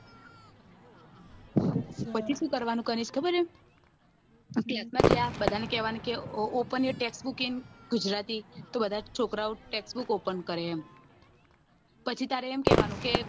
પછી કરવાનું કનીશ ખબર હે open your text book in Gujarati તો બધા છોકરા ઓ text book open કરે એમ પછી તારે એમ કેવાનું કે